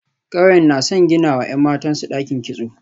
Kauyen na son ginawa ‘yan matansu dakin kitso.